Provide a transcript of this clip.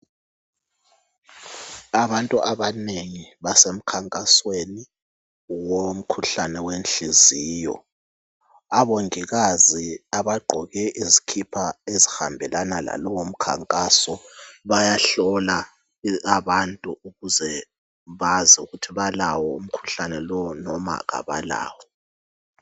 Abantu abanengi basemkhankasweni womkhuhlane wenhliziyo. Abongikazi abagqoke izikipa ezihambelana lalowo mkhankaso bayahlola abantu ukuze bazi ukuthi balawo umkhuhlane lowu noma kabalawo.